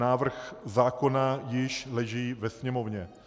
Návrh zákona již leží ve Sněmovně.